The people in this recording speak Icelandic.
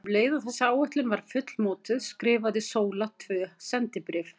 Um leið og þessi áætlun var fullmótuð skrifaði Sóla tvö sendibréf.